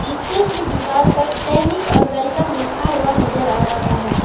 पीछे की दीवाल पर सैनिक और वेलकम लिखा हुआ नजर आ रहा है।